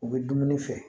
U bɛ dumuni feere